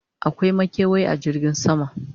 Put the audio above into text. akwai makewayi a jirgin sama?